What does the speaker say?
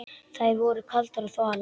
Þær voru kaldar og þvalar.